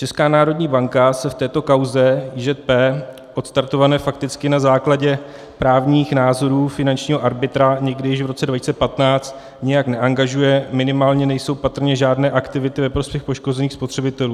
Česká národní banka se v této kauze IŽP, odstartované fakticky na základě právních názorů finančního arbitra někdy již v roce 2015, nijak neangažuje, minimálně nejsou patrné žádné aktivity ve prospěch poškozených spotřebitelů.